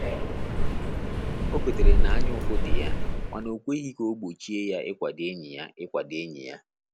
O kwetere na anya ụfụ dị ya mana o kweghị ka o gbochie ya ikwado enyi ya ikwado enyi ya